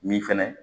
Min fɛnɛ